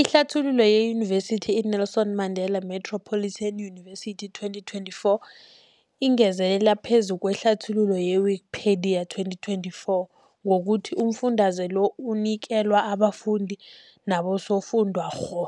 Ihlathululo yeYunivesithi i-Nelson Mandela Metropolitan University, 2024, ingezelele phezu kwehlathululo ye-Wikipedia, 2024, ngokuthi umfundaze lo unikelwa abafundi nabosofundwakgho.